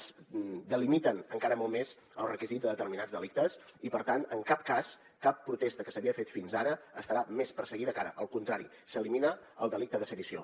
es delimiten encara molt més els requisits de determinats delictes i per tant en cap cas cap protesta que s’havia fet fins ara estarà més perseguida que ara al contrari s’elimina el delicte de sedició